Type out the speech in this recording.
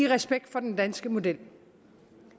respekt for den danske model